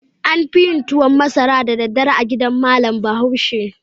An fi yin tuwan masara da daddare a gidan malam Bahaushe.